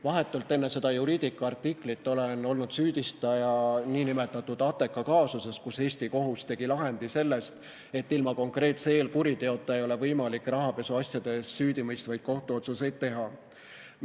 Vahetult enne seda Juridica artiklit olen olnud süüdistaja nn Ateka kaasuses, kus Eesti kohus tegi lahendi selle kohta, et ilma konkreetse eelkuriteota ei ole võimalik rahapesuasjades süüdimõistvaid kohtuotsuseid teha.